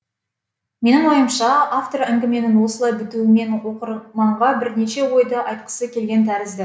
менің ойымша автор әңгіменің осылай бітуімен оқырманға бірнеше ойды айтқысы келген тәрізді